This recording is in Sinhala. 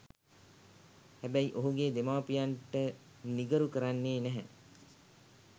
හැබැයි ඔහුගේ දෙමාපියන්ට නිගරු කරන්නේ නැහැ.